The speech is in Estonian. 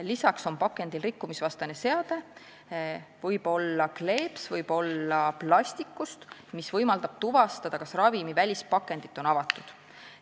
Lisaks on pakendil rikkumisvastane seade – see võib olla kleeps, see võib olla plastist –, mis võimaldab tuvastada, kas ravimi välispakendit on avatud.